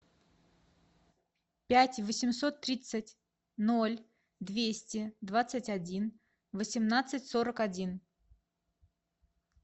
пять восемьсот тридцать ноль двести двадцать один восемнадцать сорок один